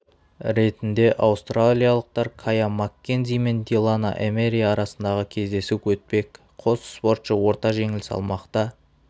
ретінде аустралиялықтар кая маккензи мен дилана эмери арасындағы кездесу өтпек қос спортшы орта жеңіл салмақта